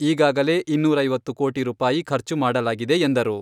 ಈಗಾಗಲೇ ಇನ್ನೂರವೈತ್ತು ಕೋಟಿ ರೂಪಾಯಿ ಖರ್ಚು ಮಾಡಲಾಗಿದೆ ಎಂದರು.